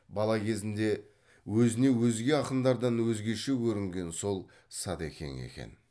бала кезінде өзіне өзге ақындардан өзгеше көрінген сол садекең екен